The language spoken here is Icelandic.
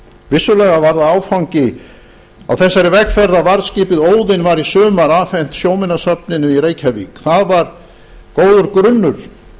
vissulega var það áfangi á þessari vegferð þegar varðskipið óðinn var í sumar afhent sjóminjasafninu í reykjavík það var góður grunnur